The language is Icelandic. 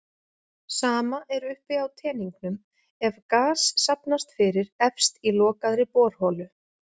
Sama er uppi á teningnum ef gas safnast fyrir efst í lokaðri borholu.